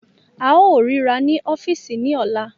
A óò ríra ní ọ́fíìsì ní ọ̀la